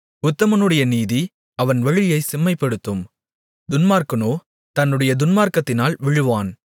உத்தமனுடைய நீதி அவன் வழியைச் செம்மைப்படுத்தும் துன்மார்க்கனோ தன்னுடைய துன்மார்க்கத்தினால் விழுவான்